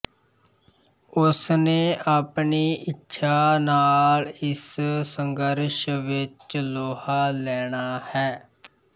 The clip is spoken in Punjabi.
ਉਸਨੇ ਆਪਣੀ ਇੱਛਾ ਨਾਲ਼ ਇਸ ਸੰਘਰਸ਼ ਵਿੱਚ ਲੋਹਾ ਲੈਣਾ ਹੈ